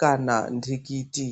kana ntikiti.